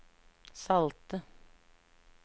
salte